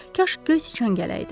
Kaş göy siçan gələrdi!